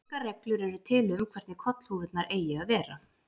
Engar reglur eru til um hvernig kollhúfurnar eigi að vera.